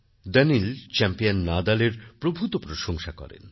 দানিলচ্যাম্পিয়ান নাদালের প্রভূত প্রশংসা করেন